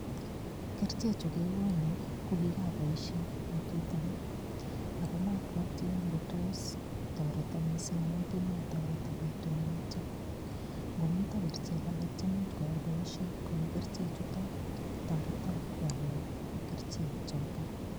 Kerichechu kekono ko kikaboishe betut age akomapwoti ngotos toreto mising' amun kimatoreto betunoto ngomito kerichek alak chemuuch koyai boishet kou kerichechuto toreto wolwo kerichek choto